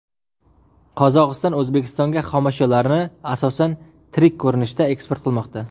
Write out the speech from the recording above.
Qozog‘iston O‘zbekistonga xomashyolarni, asosan, tirik ko‘rinishda eksport qilmoqda.